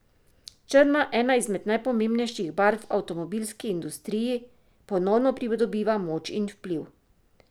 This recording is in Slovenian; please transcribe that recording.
Črna, ena izmed najpomembnejših barv v avtomobilski industriji, ponovno pridobiva moč in vpliv.